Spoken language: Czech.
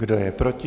Kdo je proti?